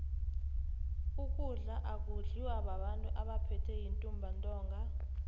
ukudla akudliwa babantu abaphethwe yintumbantinga